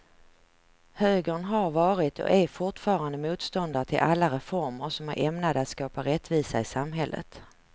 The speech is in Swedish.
Högern har varit och är fortfarande motståndare till alla reformer som är ämnade att skapa rättvisa i samhället.